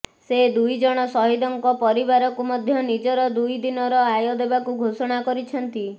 ସେ ଦୁଇ ଜଣ ସହିଦଙ୍କ ପରିବାରକୁ ମଧ୍ୟ ନିଜର ଦୁଇ ଦିନର ଆୟ ଦେବାକୁ ଘୋଷଣା କରିଛନ୍ତି